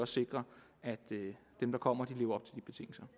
sikre at dem der kommer også lever